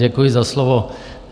Děkuji za slovo.